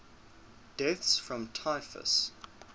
deaths from typhus